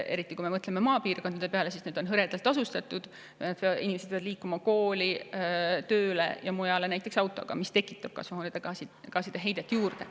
Eriti kui me mõtleme maapiirkondade peale: need on hõredalt asustatud, inimesed peavad liikuma kooli, tööle ja mujale autoga, mis tekitab kasvuhoonegaaside heidet juurde.